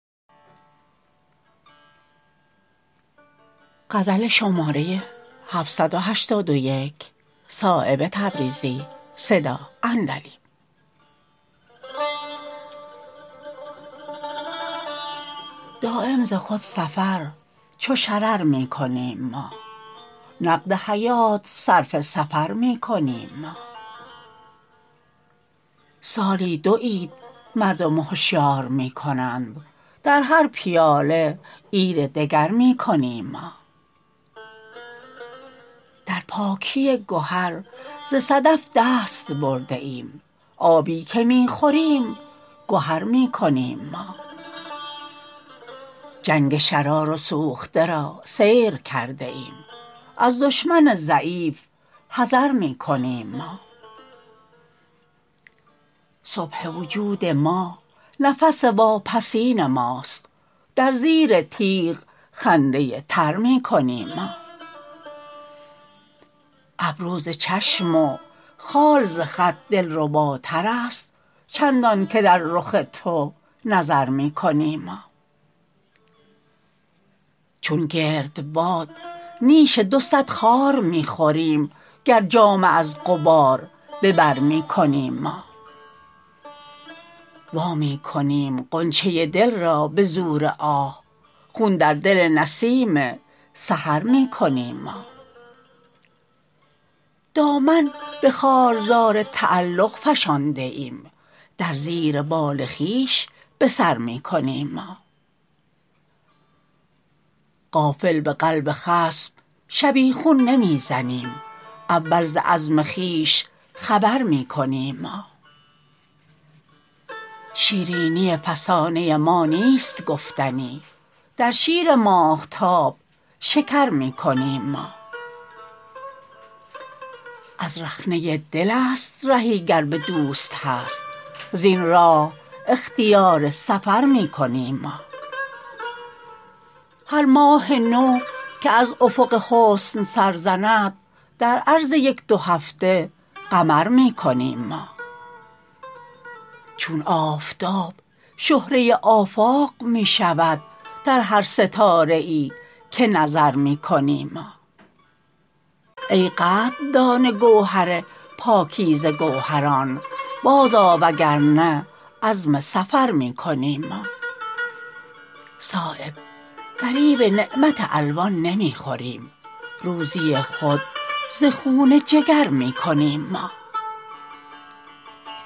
دایم ز خود سفر چو شرر می کنیم ما نقد حیات صرف سفر می کنیم ما سالی دو عید مردم هشیار می کنند در هر پیاله عید دگر می کنیم ما در پاکی گهر ز صدف دست برده ایم آبی که می خوریم گهر می کنیم ما جنگ شرار و سوخته را سیر کرده ایم از دشمن ضعیف حذر می کنیم ما صبح وجود ما نفس واپسین ماست در زیر تیغ خنده تر می کنیم ما ابرو ز چشم و خال ز خط دلرباترست چندان که در رخ تو نظر می کنیم ما چون گردباد نیش دو صد خار می خوریم گر جامه از غبار به بر می کنیم ما وامی کنیم غنچه دل را به زور آه خون در دل نسیم سحر می کنیم ما دامن به خارزار تعلق فشانده ایم در زیر بال خویش به سر می کنیم ما غافل به قلب خصم شبیخون نمی زنیم اول ز عزم خویش خبر می کنیم ما شیرینی فسانه ما نیست گفتنی در شیر ماهتاب شکر می کنیم ما از رخنه دل است رهی گر به دوست هست زین راه اختیار سفر می کنیم ما هر ماه نو که از افق حسن سر زند در عرض یک دو هفته قمر می کنیم ما چون آفتاب شهره آفاق می شود در هر ستاره ای که نظر می کنیم ما ای قدردان گوهر پاکیزه گوهران بازآ وگرنه عزم سفر می کنیم ما صایب فریب نعمت الوان نمی خوریم روزی خود ز خون جگر می کنیم ما